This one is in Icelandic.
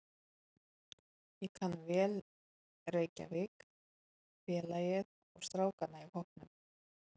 Ég kann vel Reykjavík, félagið og strákana í hópnum.